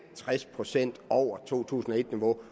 tres procent over to tusind og et niveau